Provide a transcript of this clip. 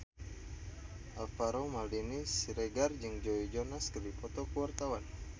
Alvaro Maldini Siregar jeung Joe Jonas keur dipoto ku wartawan